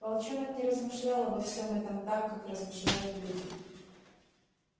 волчонок не размышлял обо всем этом так как размышляют люди